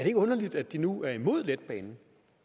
ikke underligt at de nu er imod letbanen